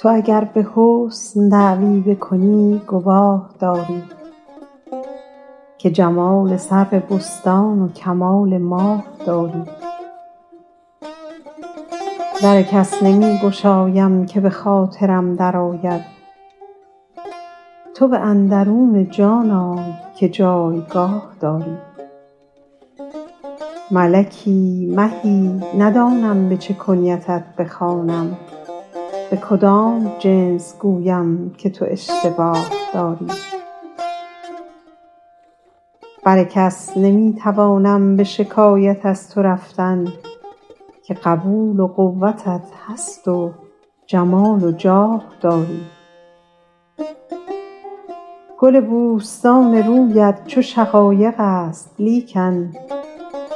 تو اگر به حسن دعوی بکنی گواه داری که جمال سرو بستان و کمال ماه داری در کس نمی گشایم که به خاطرم درآید تو به اندرون جان آی که جایگاه داری ملکی مهی ندانم به چه کنیتت بخوانم به کدام جنس گویم که تو اشتباه داری بر کس نمی توانم به شکایت از تو رفتن که قبول و قوتت هست و جمال و جاه داری گل بوستان رویت چو شقایق است لیکن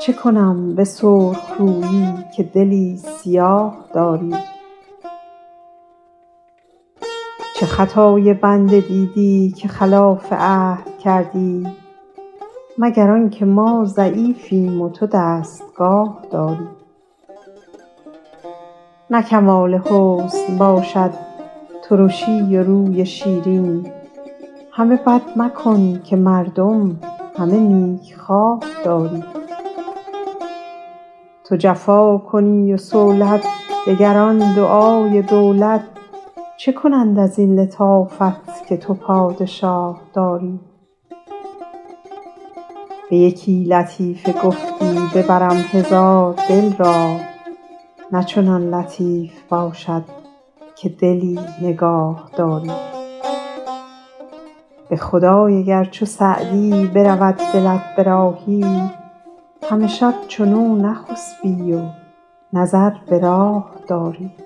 چه کنم به سرخ رویی که دلی سیاه داری چه خطای بنده دیدی که خلاف عهد کردی مگر آن که ما ضعیفیم و تو دستگاه داری نه کمال حسن باشد ترشی و روی شیرین همه بد مکن که مردم همه نیکخواه داری تو جفا کنی و صولت دگران دعای دولت چه کنند از این لطافت که تو پادشاه داری به یکی لطیفه گفتی ببرم هزار دل را نه چنان لطیف باشد که دلی نگاه داری به خدای اگر چو سعدی برود دلت به راهی همه شب چنو نخسبی و نظر به راه داری